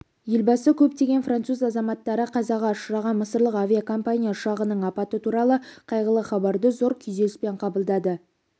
елбасы көптеген француз азаматтары қазаға ұшыраған мысырлық авиакомпания ұшағының апаты туралы қайғылы хабарды зор күйзеліспен қабылдады